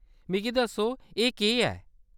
मिगी दस्सो एह्‌‌ केह्‌‌ ऐ ?